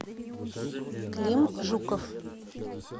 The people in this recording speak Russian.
клим жуков